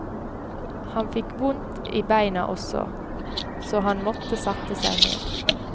Han fikk vondt beina også, så han måtte sette seg ned.